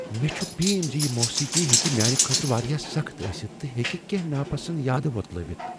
مےٚ چھ بیم ز یہ موسیقی ہیٚکہ میانہ خٲطرٕ واریاہ سخت ٲستھ تہٕ ہیکہ کیٚنٛہہ نا پسند یادٕ وۄتلٲوِتھ۔